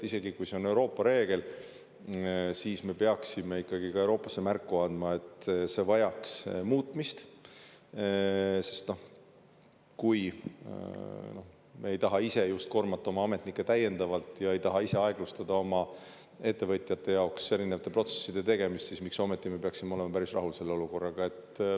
Isegi kui see on Euroopa reegel, siis me peaksime ikkagi ka Euroopasse märku andma, et see vajaks muutmist, sest kui me ei taha ise just koormata oma ametnikke täiendavalt ja ei taha ise aeglustada oma ettevõtjate jaoks erinevate protsesside tegemist, siis miks ometi me peaksime olema päris rahul selle olukorraga.